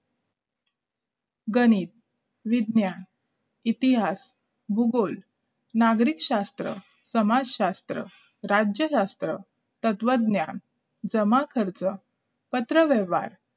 गणित विज्ञान इतिहास भूगोल नागरिकशास्त्र समाजशास्त्र राज्यशास्त्र तत्वज्ञान जमाखर्च पत्रव्यवहार